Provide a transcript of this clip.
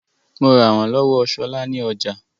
Mo rà wọ́n lọ́wọ́ Ṣọlá ní ọjà